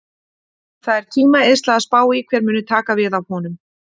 Það er tímaeyðsla að spá í hver muni taka við af honum.